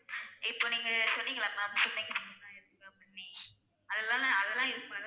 இப்ப நீங்க சொன்னீங்கள ma'am swimming pool லா இருக்கும் அப்படின்னே அத அதா use பண்ணிங்கனா